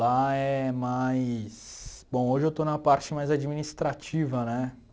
Lá é mais... Bom, hoje eu estou na parte mais administrativa, né?